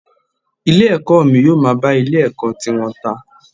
Ilé ẹ̀kọ́ mi yóò máa bá ilé ẹ̀kọ́ tiwọn ta.